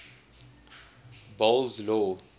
boles aw